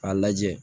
K'a lajɛ